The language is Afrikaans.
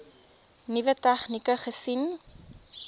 nuwe tegnieke gesien